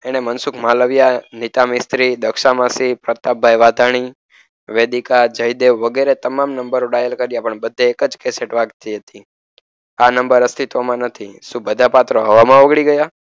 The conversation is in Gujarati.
એણે મનસુખ માલવયા, નીતા મિસ્ત્રી, દક્ષા માસી, પ્રતાપભાઈ વાઘાણી, વેદિકા, જયદેવ વગેરે તમામ નંબરો ડાયલ કર્યા. પરંતુ, બધે એક જ કેસેટ વાગતી હતી. આ નંબર અસ્તિત્વમાં નથી શું બધા પાત્રો હવામાં ઓગળી ગયા?